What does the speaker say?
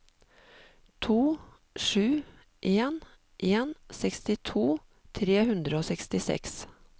to sju en en sekstito tre hundre og sekstiseks